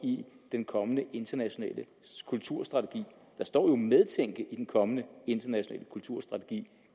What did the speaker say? den kommende internationale kulturstrategi der står jo medtænke i den kommende internationale kulturstrategi